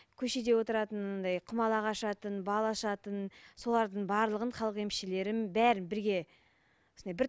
көшеде отыратын анандай құмалақ ашатын бал ашатын солардың барлығын халық емішлерін бәрін бірге